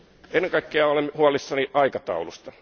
Ennen kaikkea olen huolissani aikataulusta.